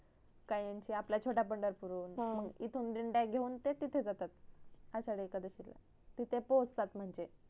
काहींची आपल्या छोट्या पंढरपूर वरुण इथून ते डिंडया घेऊन ते तिथ जातात आषाढी एकादशी ला तिथे पोचतात म्हणजे